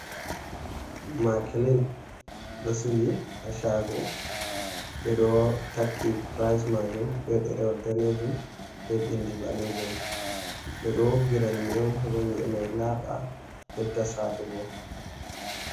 "Makilin" ɗo sili ha shago ɓeɗo takki pirais majum be ɗerewol danejum be bindi ɓalejum ɓeɗo woggira nyi'e heba nyi' e mai laba bedda satugo.